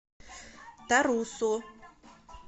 тарусу